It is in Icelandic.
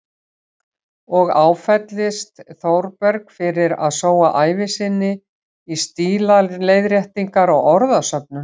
Og áfellist Þórberg fyrir að sóa ævi sinni í stílaleiðréttingar og orðasöfnun.